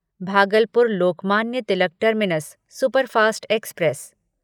Bhagalpur Lokmanya Tilak terminus superfast express